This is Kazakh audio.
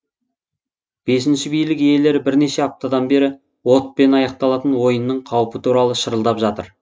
бесінші билік иелері бірнеше аптадан бері отпен аяқталатын ойынның қаупі туралы шырылдап жатыр